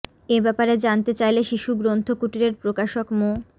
এ ব্যাপারে জানতে চাইলে শিশু গ্রন্থ কুটিরের প্রকাশক মো